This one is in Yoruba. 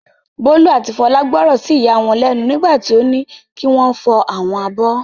Bólú àti Fọlá gbọ́ràn sí ìyá wọn lẹ́nu nígbà tí ó ní kí wọ́n fọ àwọn abọ́.